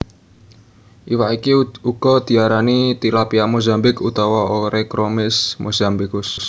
Iwak iki uga diarani tilapia Mozambik utawa Oreochromis mossambicus